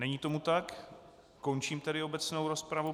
Není tomu tak, končím tedy obecnou rozpravu.